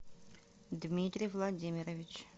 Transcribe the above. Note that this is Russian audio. дмитрий владимирович